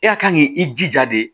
E ka kan k'i i jija de